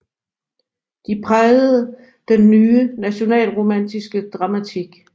De prægede den ny nationalromantiske dramatik